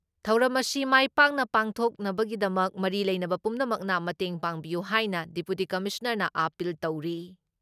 ꯊꯧꯔꯝ ꯑꯁꯤ ꯃꯥꯏ ꯄꯥꯛꯅ ꯄꯥꯡꯊꯣꯛꯅꯕꯒꯤꯃꯛ ꯃꯔꯤ ꯂꯩꯅꯕ ꯄꯨꯝꯅꯃꯛꯅ ꯃꯇꯦꯡ ꯄꯥꯡꯕꯤꯌꯨ ꯍꯥꯏꯅ ꯗꯤꯄꯨꯇꯤ ꯀꯃꯤꯁꯅꯥꯔꯅ ꯑꯥꯄꯤꯜ ꯇꯧꯔꯤ ꯫